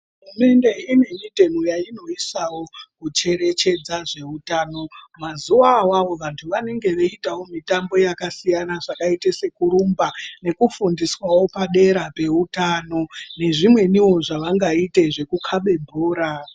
Hurumende ine mitemo yainoisawo kucherecgedza zvehutano mazuva awawo vantu vanenge weitawo mitambo yakasiyana zvakaita sekurumba nekufundiswawo padero peutano nezvimweniwo zvawangaite zvekukabe bhora.